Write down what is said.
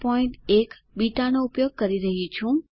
081 બીટાનો ઉપયોગ કરી રહ્યી છું છે